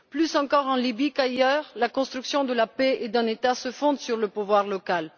Plus encore en Libye qu'ailleurs, la construction de la paix et d'un État se fonde sur le pouvoir local.